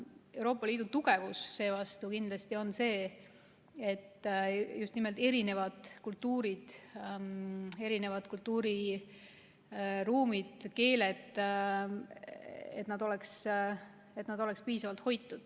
Euroopa Liidu tugevus seevastu on see, kui just nimelt erinevad kultuurid, kultuuriruumid ja keeled on piisavalt hoitud.